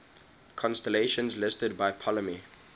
constellations listed by ptolemy